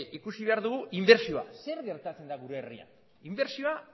ikusi behar dugu ere inbertsioa zer gertatzen da gure herrian inbertsioa